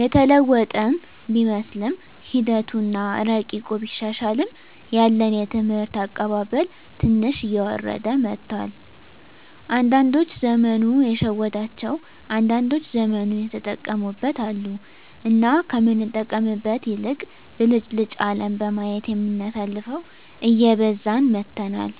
የተለወጥን ቢመስለንምሒደቱ አና እረቂቁ ቢሻሻልም ያለን የትምህርት አቀባበል ትንሽ እየወረደ መጥቷል። አንዳዶች ዘመኑ የሸወዳቸው አንዳንዶች ዘመኑን የተጠቀሙበት አሉ። እና ከምንጠቀምበት ይልቅ ብልጭልጭ አለም በማየት የምናሳልፈው እየበዛን መጥተናል።